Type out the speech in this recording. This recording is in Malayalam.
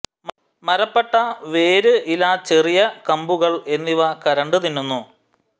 മരപ്പട്ട വേര് ഇല ചെറിയ കമ്പുകൾ എന്നിവ കരണ്ടു തിന്നുന്നു